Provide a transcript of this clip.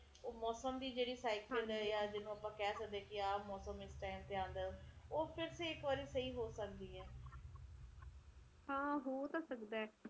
ਅਬਾਦੀ ਵੀ ਇੰਨੀ ਵਧੀ ਜਾਂਦੀ ਕਿ ਲੋਕਾਂ ਨੇ ਰੋਜ਼ੀ ਰੋਟੀ ਵੀ ਕਮਾਉਣੀ ਲੋਕੀ ਕਿ ਕਰਨਗੇ ਜੇ ਕੰਮ ਧੰਦਾ ਨਾ ਹੋਊਗਾ ਤਾ ਫਿਰ ਬਹੁਤ ਔਖਾ ਹੋਊਗਾ